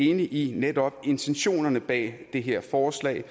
enig i intentionerne bag det her forslag